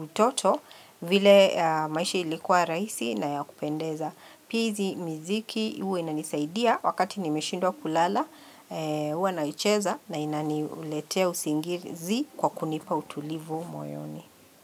utoto vile maisha ilikuwa rahisi na ya kupendeza. Pizi miziki huwa inanisaidia wakati nimeshindwa kulala, huwa naicheza na inani letea usingizi kwa kunipa utulivu moyoni.